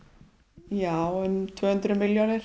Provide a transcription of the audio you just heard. já um tvö hundruð milljónir